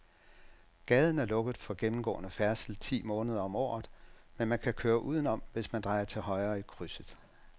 Gaden er lukket for gennemgående færdsel ti måneder om året, men man kan køre udenom, hvis man drejer til højre i krydset.